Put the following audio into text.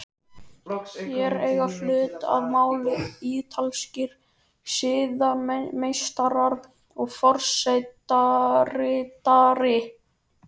Hér eiga hlut að máli ítalskir siðameistarar og forsetaritari.